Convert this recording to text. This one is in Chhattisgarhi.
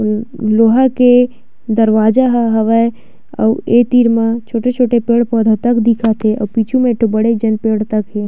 अम्म लोहा के दरवाजा हवय अउ ए तीर म छोटे-छोटे पेड़-पौधा तक दिखत हे अउ पीछे म एक ठो बड़े जान पेड़ तक हे।